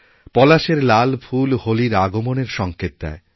পলাশের লাল ফুল হোলির আগমনের সঙ্কেত দেয়